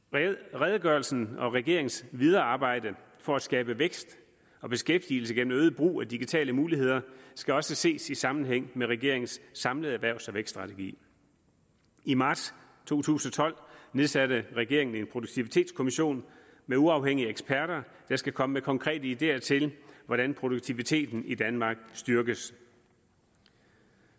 redegørelsen og regeringens videre arbejde for at skabe vækst og beskæftigelse gennem øget brug af digitale muligheder skal også ses i sammenhæng med regeringens samlede erhvervs og vækststrategi i marts to tusind og tolv nedsatte regeringen en produktivitetskommission med uafhængige eksperter der skal komme med konkrete ideer til hvordan produktiviteten i danmark styrkes